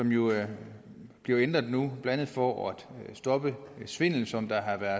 bliver jo ændret nu blandt andet for at stoppe svindel som der